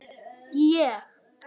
Ég?